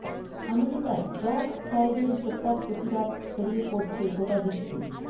আমেরিকায় জর্জ ফ্লয়েডের হত্যার প্রতিবাদ ছড়িয়ে পড়ছে গোটা বিশ্বে